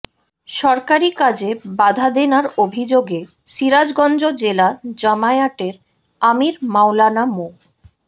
সরকারি কাজে বাধাদানের অভিযোগে সিরাজগঞ্জ জেলা জামায়াতের আমির মাওলানা মো